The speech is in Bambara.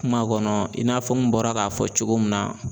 Kuma kɔnɔ i n'a fɔ n bɔra k'a fɔ cogo min na.